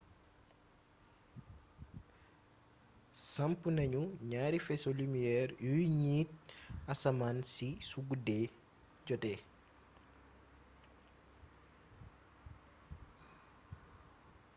samp nañu ñaari faisceau lumière yuy niit asmaan si su guddi jotee